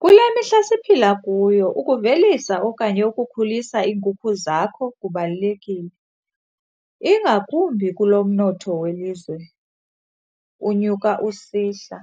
Kule mihla siphila kuyo ukuvelisa okanye ukukhulisa iinkukhu zakho kubalulekile, ingakumbi kulo mnotho welizwe unyuka usihla.